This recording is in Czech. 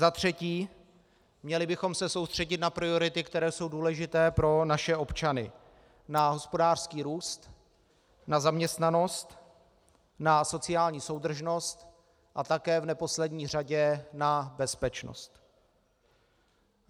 Za třetí, měli bychom se soustředit na priority, které jsou důležité pro naše občany, na hospodářský růst, na zaměstnanost, na sociální soudržnost a také v neposlední řadě na bezpečnost.